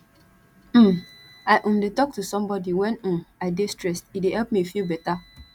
um i um dey talk to somebodi wen um i dey stressed e dey help me feel beta